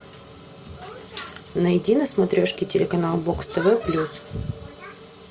найди на смотрешке телеканал бокс тв плюс